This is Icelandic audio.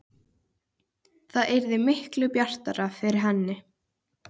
Það yrði miklu bjartara yfir henni.